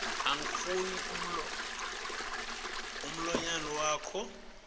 angifuni mlonyana wakho